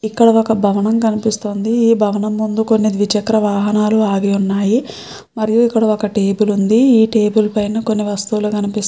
ఇక్కడ ఒక భవనం కనిపిస్తుంది. ఈ భవనము ముందు ద్విచక్ర వాహనాలు ఆగి ఉన్నాయి. మరియు ఇక్కడ ఒక టేబుల్ ఉంది . ఆ టేబుల్ మీద వస్తువులు కనిపిస్తుం--